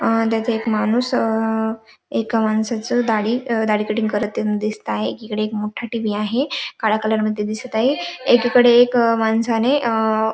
त्यात एक माणूस अ एका माणसाच दाढी दाढी कटिंग करतानी दिसत आहे एकीकडे एक मोठा टीव्ही आहे काळ्या कलरमध्ये दिसत आहे एकीकडे एक माणसाने आ --